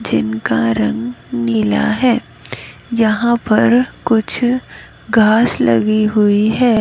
जिनका रंग नीला है यहां पर कुछ घास लगी हुई है।